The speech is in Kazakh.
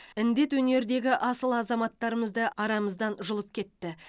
індет өнердегі асыл азаматтарымызды арамыздан жұлып кетті